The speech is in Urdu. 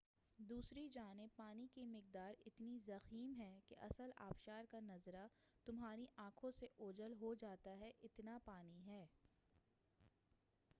دوسری جانب پانی کی مقدار اتنی ضخیم ہے کہ اصل آبشار کا نظرہ تمہاری آنکھ سے اوجھل ہو جاتا ہے اتنا پانی ہے